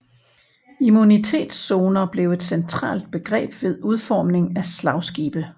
Immunitetszoner blev et centralt begreb ved udformning af slagskibe